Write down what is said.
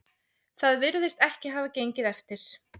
Það virðist ekki hafa gengið eftir